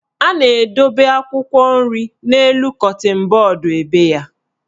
A na-edobe akwụkwọ nri n'elu kọtịn bọọdụ ebe ya.